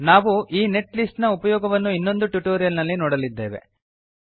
ನಾವು ಈ net list ನ ಉಪಯೋಗವನ್ನು ಇನ್ನೊಂದು ಟ್ಯುಟೋರಿಯಲ್ ನಲ್ಲಿ ನೋಡಲಿದ್ದೇವೆ